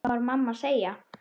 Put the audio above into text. Hvað var mamma að segja?